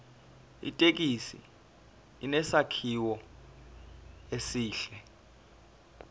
ithekisi inesakhiwo esihle